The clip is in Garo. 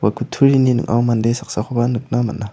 kutturini ning·ao mande saksakoba nikna man·a.